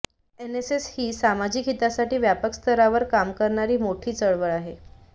NSS ही सामाजिक हितासाठी व्यापक स्तरावर काम करणारी मोठी चळवळ आहे